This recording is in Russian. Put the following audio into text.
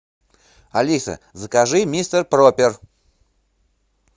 алиса закажи мистер пропер